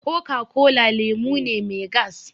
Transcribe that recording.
Coca-cola lemu ne mai gas